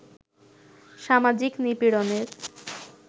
সামাজিক নিপীড়নের